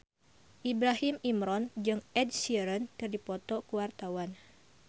Ibrahim Imran jeung Ed Sheeran keur dipoto ku wartawan